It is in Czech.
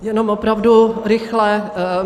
Jenom opravdu rychle.